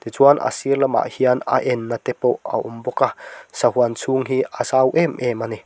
tichuan a sir lamah hian a enna te pawh a awm bawk a sahuan chhûng hi a zau em em a ni.